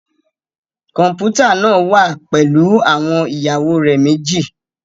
Kọmputa naa wa pẹlu awọn iyawo rẹ meji